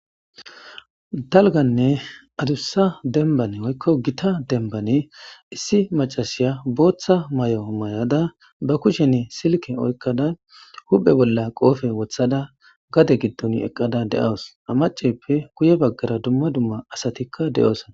dalganne adussa denbane oykko gita denbane issi macasiya booththa may7o may7ada ba kushenne silke oykkada huphe bolla qoofe wothada gade giddon eqqada de7awus amaceppe guye baggara dumma dumma asatikka de7oosa